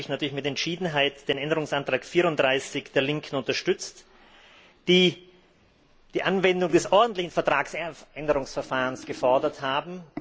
Darum habe ich natürlich mit Entschiedenheit den Änderungsantrag 34 der Linken unterstützt, die die Anwendung des ordentlichen Vertragsänderungsverfahrens gefordert haben.